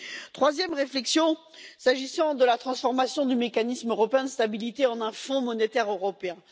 Ma troisième réflexion porte sur la transformation du Mécanisme européen de stabilité en un Fonds monétaire européen.